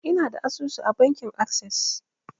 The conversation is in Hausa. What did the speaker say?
Ina da asusu a bankin assas